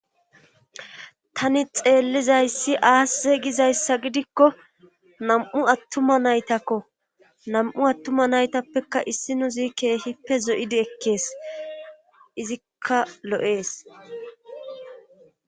tani xeellizayssi aasse gizayssa gidikko nam7u attuma naytakko nam7u attuma naytappekka issi nuzi keehippe zoyidi ekkees izikka lo7ees